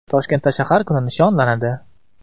Toshkentda shahar kuni nishonlanadi.